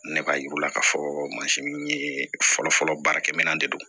Ne b'a yir'u la k'a fɔ in ye fɔlɔfɔlɔ baarakɛminɛn de don